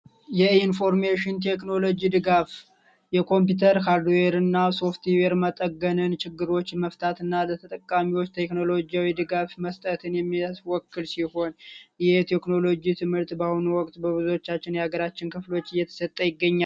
የኢንፎርሜሽን ቴክኖሎጂ ድጋፍ የኮምፒውተር እና ሶፍትዌር መጠገነን ችግሮች መፍታትና ለተጠቃሚዎች ቴክኖሎጂው የድጋፍ መስጠት ይሆን የቴክኖሎጂ ትምህርት በአሁኑ ወቅት በብዙዎቻችን የሀገራችን ክፍሎች እየተሰጠ ይገኛል